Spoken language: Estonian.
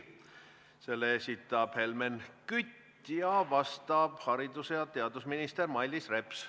Selle esitab Helmen Kütt, vastab haridus- ja teadusminister Mailis Reps.